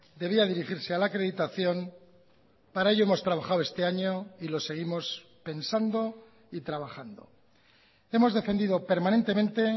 debía dirigirse a la acreditación para ello hemos trabajado este año y lo seguimos pensando y trabajando hemos defendido permanentemente